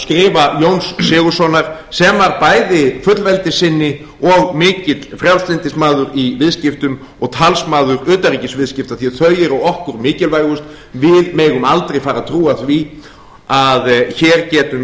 skrifa jóns sigurðssonar sem var bæði fullveldissinni og mikill frjálslyndismaður í viðskiptum og talsmaður utanríkisviðskipta því að þau eru okkur mikilvægust við megum aldrei fara að trúa því að hér getum